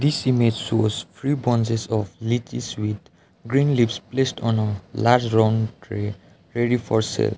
this image shows three branches of lychees with green leaves placed on a large round tray ready for sale.